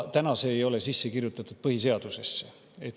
Aga see ei ole sisse kirjutatud põhiseadusesse.